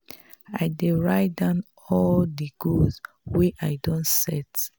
i dey write down all di goals wey i don set.